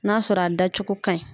N'a sɔrɔ a dacogo ka ɲi.